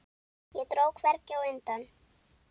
Og dró hvergi undan.